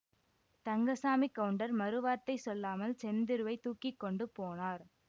தங்கசாமிக் கவுண்டர் மறு வார்த்தை சொல்லாமல் செந்திருவைத் தூக்கி கொண்டு போனார்